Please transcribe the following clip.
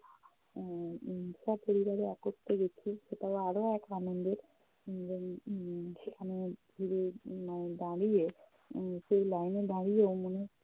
উম উম সপরিবারে একত্রে গেছি, সেটাও আরও এক আনন্দের। উম এবং উম সেখানে ঘুরে উম দাঁড়িয়ে উম সেই line এ দাঁড়িয়ে মনে হচ্ছে